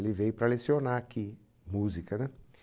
Ele veio para lecionar aqui, música, né?